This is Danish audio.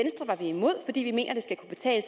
skal kunne betale